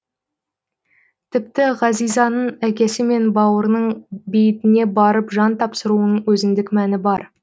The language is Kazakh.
тіпті ғазизаның әкесі мен бауырының бейітіне барып жан тапсыруының өзіндік мәні бар